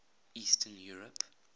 eastern europe